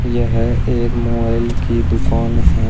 यह एक मोबाइल की दुकान है।